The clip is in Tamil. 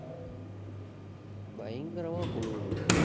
பயங்கரமா குளிருது